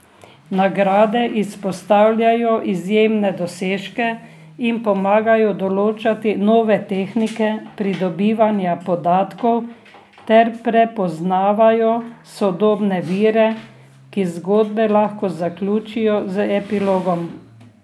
Nagrade izpostavljajo izjemne dosežke in pomagajo določati nove tehnike pridobivanja podatkov ter prepoznavajo sodobne vire, ki zgodbe lahko zaključijo z epilogom.